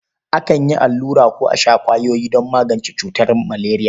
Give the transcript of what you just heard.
Akan yi allura ko a sha ƙwayoyi don magance cutar maleriya.